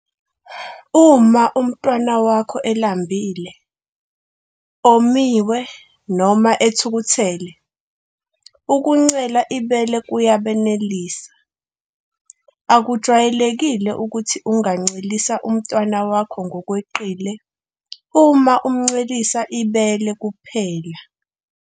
Uma umntwana wakho elambile, omiwe noma ethukuthele, ukuncela ibele kuyabenelisa. Akujwayelekile ukuthi ungancelisa umntwana wakho ngokweqile uma umncelisa ibele kuphela.